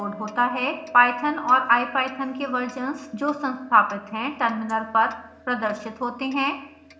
python और ipython के versions जो संस्थापित हैं टर्मिनल पर प्रदर्शित होते हैं